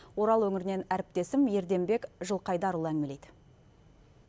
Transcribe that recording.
орал өңірінен әріптесім ерденбек жылқайдарұлы әңгімелейді